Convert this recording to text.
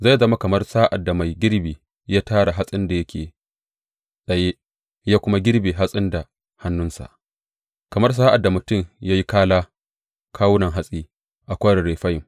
Zai zama kamar sa’ad da mai girbi ya tara hatsin da yake tsaye ya kuma girbe hatsin da hannunsa kamar sa’ad da mutum ya yi kala kawunan hatsi a Kwarin Refayim.